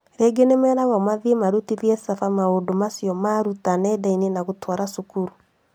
Rĩngĩ nĩmeragwo mathiĩ marutithie caba maũndũ macio maaruta nenda-inĩ na gũtwara cukuru